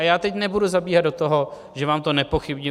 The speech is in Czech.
A já teď nebudu zabíhat do toho, že vám to nepochybně